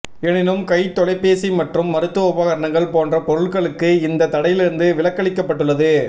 எனினும் கைத்தொலைபேசி மற்றும் மருத்துவ உபகரணங்கள் போன்ற பொருட்களுக்கு இந்த தடையிலிருந்து விலக்களிக்கப்பட்டுள்ளது